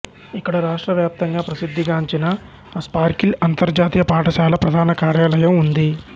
ఇక్కడ రాష్ట్ర వ్యాప్తంగా ప్రసిద్ధిగాంచిన స్పార్క్రిల్ అంతర్జాతీయ పాఠశాల ప్రధాన కార్యాలయం ఉంది